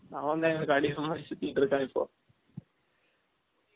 அவன் தான் எங்கலுக்கு அடிமை மாதிரி சுத்திட்டு இருக்கான் இப்போ